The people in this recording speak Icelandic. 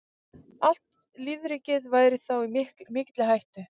Allt lífríkið væri þá í mikilli hættu.